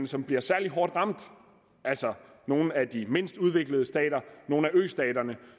som bliver særlig hårdt ramt altså nogle af de mindst udviklede stater nogle af østaterne